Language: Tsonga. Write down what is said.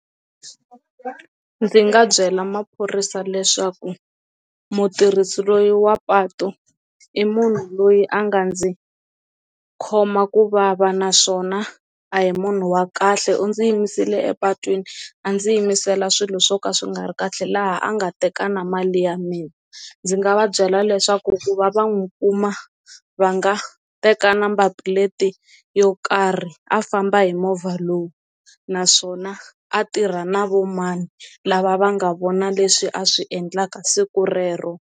Ndzi nga byela maphorisa leswaku mutirhisi loyi wa patu i munhu loyi a nga ndzi khoma ku vava naswona a hi munhu wa kahle kha u ndzi yimisiwile epatwini a ndzi yimisela swilo swo ka swi nga ri kahle laha a nga teka na mali ya mina, ndzi nga va byela leswaku ku va va n'wi kuma va nga a teka number plate yo karhi a famba hi movha lowu naswona a tirha na vo mani lava va nga vona leswi a swi endlaka siku rero.